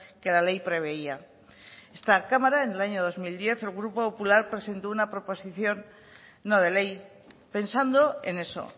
que la ley preveía esta cámara en el año dos mil diez el grupo popular presentó una proposición no de ley pensando en eso